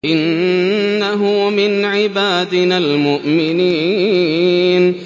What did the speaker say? إِنَّهُ مِنْ عِبَادِنَا الْمُؤْمِنِينَ